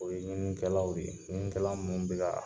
O ye ɲinikɛlaw de ye ɲininikɛla mun bɛ ka